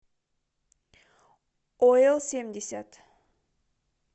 оилсемьдесят